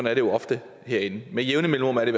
er det jo ofte herinde med jævne mellemrum er det